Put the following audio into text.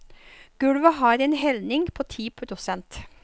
Gulvet har en helning på ti prosent.